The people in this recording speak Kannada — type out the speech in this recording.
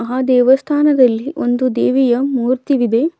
ಹಾ ದೇವಸ್ಥಾನದಲ್ಲಿ ಒಂದು ದೇವಿಯ ಮೂರ್ತಿವಿದೆ.